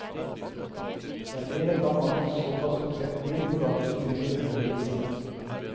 Det er mer enn hva mang en såkalt konseptbil på dagens utstillinger behøver å bevise.